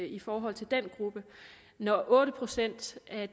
i forhold til den gruppe når otte procent af